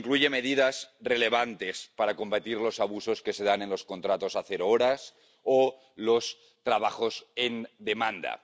Incluye medidas relevantes para combatir los abusos que se dan en los contratos de cero horas o los trabajos según demanda.